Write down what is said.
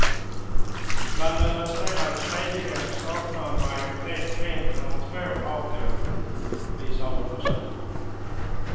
Bland den resterande tredjedelen saknar en majoritet en eller två av dem, visar undersökningen.